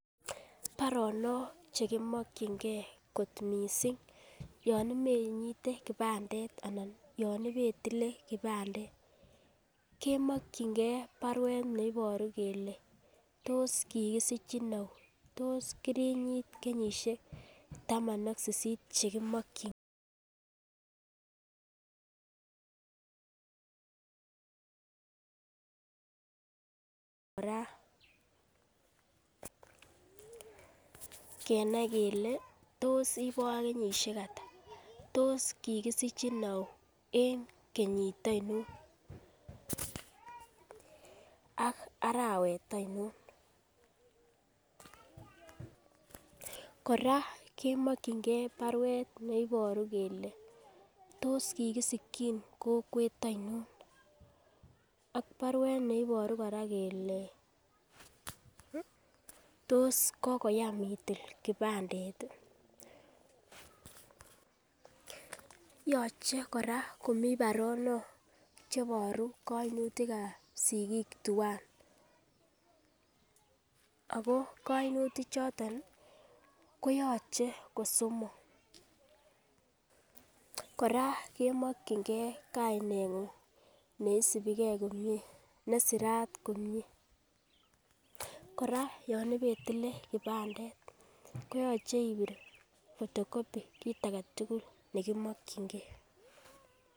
Baronok chekimokigee kot missing yon ibenyite kipandet anan yon ibetile kipandet kemokingee baruet neiboru kele tos kikisichi ou tos kirinyit kenyoshek taman ak sisit chekimokigee koraa kenai kele tos ibo kenyoshek atak tos kikisichi ou en kenyit oinon ak arawet oinon . Koraa kemokingee baruet neiboru kele tos kikisikin kokwet oinon ak baruet neiboru koraa kele tos kokoyam itil kipandet tii ,yoche koraa komii baronok cheiboru koinutikab sikik twan Ako koimutik choton nii koyoche kosomok. Koraa kemokingee kainengung neisipigee komie nesirat komie, koraa yon ipetile kipandet koyoche ipir photo copy kit agetutuk nekimokingee